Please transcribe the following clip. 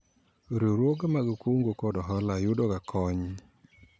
Riwruoge mag kungo kod hola yudo ga kony